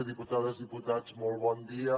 diputades diputats molt bon dia